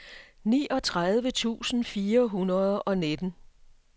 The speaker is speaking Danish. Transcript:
niogtredive tusind fire hundrede og nitten